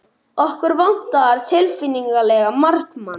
Okkur vantar tilfinnanlega markmann.